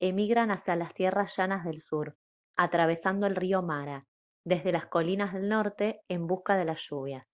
emigran hacia las tierras llanas del sur atravesando el río mara desde las colinas del norte en busca de las lluvias